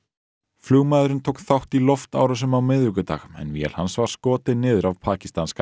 flugmaðurinn tók þátt í loftárásum á miðvikudag en vél hans var skotin niður af pakistanska